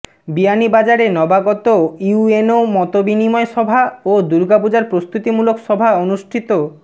বিয়ানীবাজারে নবাগত ইউএনও মতবিনিময় সভা ও দুর্গাপূজার প্রস্তুতিমুলক সভা অনুষ্ঠিত